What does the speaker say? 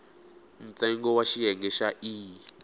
ntsengo wa xiyenge xa e